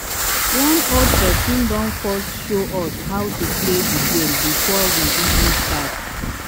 one old person don first sjow us how to play the game before we even start